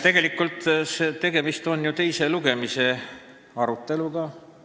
Tegelikult on ju tegemist teise lugemise aegse aruteluga.